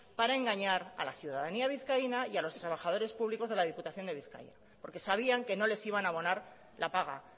para engañar a la ciudadanía vizcaína y a los trabajadores públicos de la diputación de bizkaia porque sabían que no les iban a abonar la paga